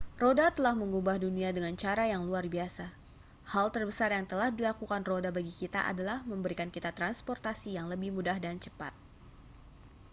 roda telah mengubah dunia dengan cara yang luar biasa hal terbesar yang telah dilakukan roda bagi kita adalah memberikan kita transportasi yang lebih mudah dan cepat